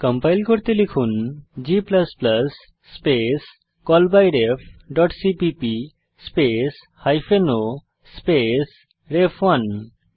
compile করতে লিখুন g space callbyrefসিপিপি স্পেস হাইফেন o স্পেস রেফ1